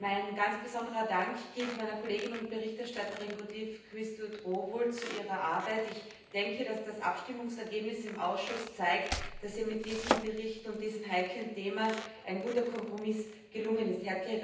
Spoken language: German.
Mein ganz besonderer Dank gilt meiner Kollegin, der Berichterstatterin Quisthoudt Rowohl, zu ihrer Arbeit. Ich denke, dass das Abstimmungsergebnis im Ausschuss zeigt, dass ihr mit diesem Bericht und diesem heiklen Thema ein guter Kompromiss gelungen ist.